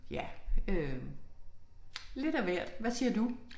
Ja øh lidt af hvert hvad siger du?